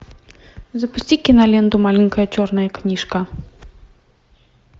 запусти киноленту маленькая черная книжка